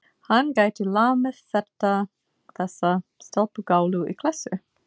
Hann gæti lamið þessa stelpugálu í klessu.